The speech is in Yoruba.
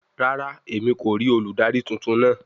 Rara, Emi ko rii oludari tuntun naa